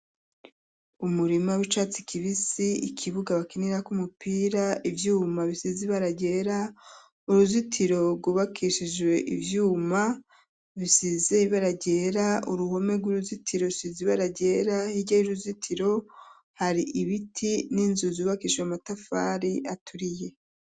Umurima w'icatsi kibisi, ikibuga bakinira k'umupira, ivyuma bisize ibara ryera ,uruzitiro rwubakishije ivyuma bisize ibara ryera, uruhome rw'uruzitiro rusize ibara ryera, hirya y'uruzitiro hari ibiti n'inzu zubakishijwe amatafari aturiye.